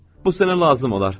“Bu sənə lazım olar.”